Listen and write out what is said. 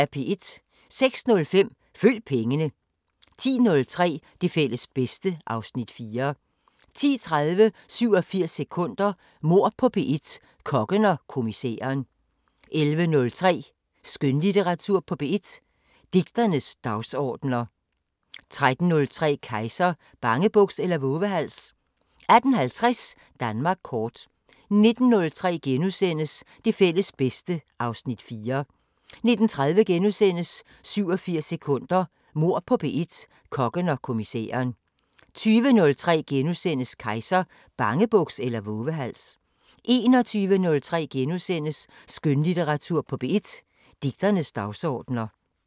06:05: Følg pengene 10:03: Det fælles bedste (Afs. 4) 10:30: 87 sekunder – Mord på P1: Kokken og kommissæren 11:03: Skønlitteratur på P1: Digternes dagsordener 13:03: Kejser: Bangebuks eller vovehals? 18:50: Danmark kort 19:03: Det fælles bedste (Afs. 4)* 19:30: 87 sekunder – Mord på P1: Kokken og kommissæren * 20:03: Kejser: Bangebuks eller vovehals? * 21:03: Skønlitteratur på P1: Digternes dagsordener *